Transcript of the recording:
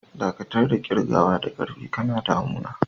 Dakatar da kirgawa da ƙarfi, kana damun na!